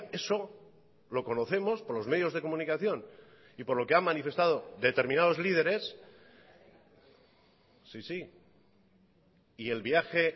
eso lo conocemos por los medios de comunicación y por lo que ha manifestado determinados lideres sí sí y el viaje